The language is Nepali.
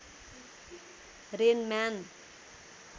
rain man